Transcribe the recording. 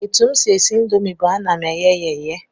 Etu m si esi indomi bụ na ana m eghe ya eghe